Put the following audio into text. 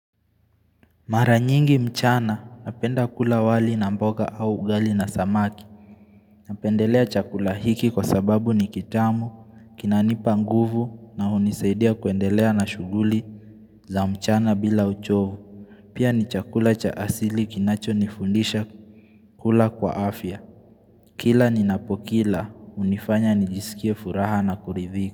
Mara nyingi mchana napenda kula wali na mboga au ugali na samaki. Napendelea chakula hiki kwa sababu ni kitamu, kinanipa nguvu na hunisaidia kuendelea na shughuli za mchana bila uchovu. Pia ni chakula cha asili kinachonifundisha kula kwa afya. Kila ninapokila, hunifanya nijisikie furaha na kuridhika.